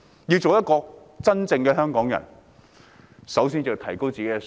要當一名真正的香港人，首先要提高自己的素質。